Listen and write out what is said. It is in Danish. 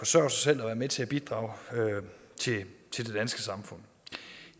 sig selv og være med til at bidrage til det danske samfund